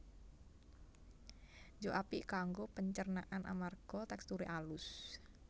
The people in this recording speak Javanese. Juk apik kanggo pencernaan amarga teksture alus